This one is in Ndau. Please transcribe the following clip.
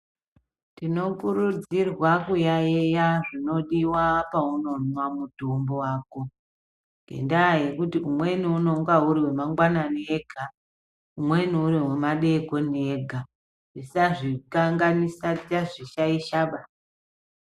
Tinokurudzirwa kuyaeya zvinodiwa paunomwa mutombo wako ngendaa yekuti umweni unenge uri wemangwanani ega umweni uri wemadekoni ega tisazvikanganisa, tisazvishaishaba.